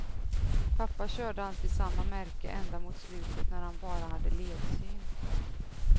Pappa körde alltid samma märke ända mot slutet när han bara hade ledsyn.